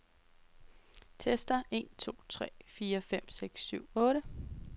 Tester en to tre fire fem seks syv otte.